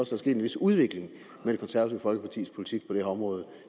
sket en vis udvikling med det konservative folkepartis politik på det her område